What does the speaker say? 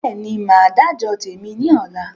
Bẹ́ẹ̀ni, Máa dà jọ tèmi ni ọ̀la